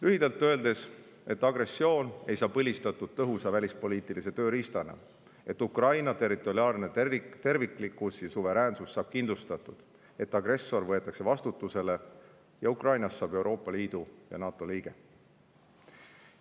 Lühidalt öeldes seda, et agressioon ei saa põlistatud tõhusa välispoliitilise tööriistana; et Ukraina territoriaalne terviklikkus ja suveräänsus saab kindlustatud; et agressor võetakse vastutusele ning Ukrainast saab Euroopa Liidu ja NATO liige.